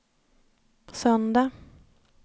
söndag